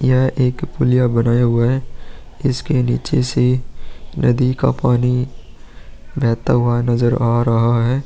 यह एक पुलिया बनाया हुआ है इसके नीचे से नदी का पानी बहता हुआ नजर आ रहा है।